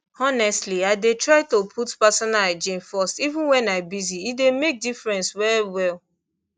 honestly i dey try to put personal hygiene first even when i busy e dey make difference well well